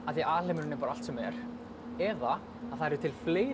því alheimurinn er allt sem er eða það eru til fleiri